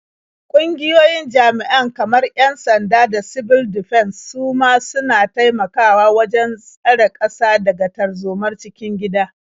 Ƙungiyoyin jami'an kamar 'yan-sanda da sibil difens su ma suna taimakawa wajen tsare ƙasa daga tarzomar cikin gida.